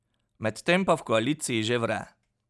Medtem pa v koaliciji že vre.